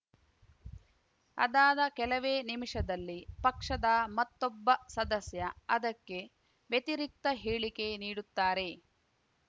ಅದಾದ ಕೆಲವೇ ನಿಮಿಷದಲ್ಲಿ ಪಕ್ಷದ ಮತ್ತೊಬ್ಬ ಸದಸ್ಯ ಅದಕ್ಕೆ ವ್ಯತಿರಿಕ್ತ ಹೇಳಿಕೆ ನೀಡುತ್ತಾರೆ